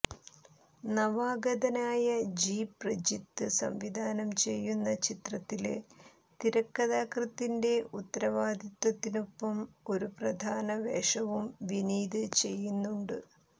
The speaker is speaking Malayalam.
നവാഗതനായ ജി പ്രജിത്ത് സംവിധാനം ചെയ്യുന്ന ചിത്രത്തില് തിരക്കഥാകൃത്തിന്റെ ഉത്തരവാദിത്വത്തിനൊപ്പം ഒരു പ്രധാന വേഷവും വിനീത് ചെയ്യുന്നുണ്ട്